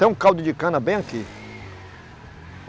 Tem um caldo de cana bem aqui.